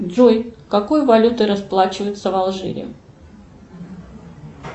джой какой валютой расплачиваются в алжире